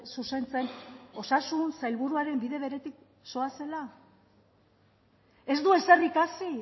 zuzentzen osasun sailburuaren bide beretik zoazela ez du ezer ikasi